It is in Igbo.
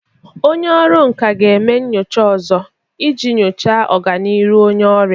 Onye ọrụ nka ga-eme nyocha ọzọ iji nyochaa ọganihu onye ọrịa.